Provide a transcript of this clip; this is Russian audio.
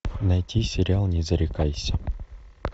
найти сериал не зарекайся